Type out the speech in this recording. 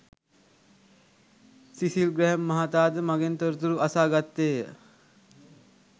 සිසිල් ග්‍රැහැම් මහතා ද මගෙන් තොරතුරු අසා ගත්තේය